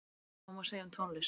Sama má segja um tónlist.